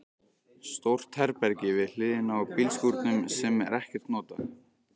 Stórt herbergi við hliðina á bílskúrnum sem er ekkert notað.